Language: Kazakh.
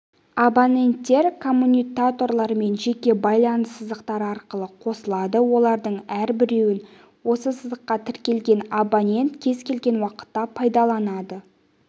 абоненттер коммутаторлармен жеке байланыс сызықтары арқылы қосылады олардың әрбіреуін осы сызыққа тіркелген абонент кез келген уақытта пайдаланады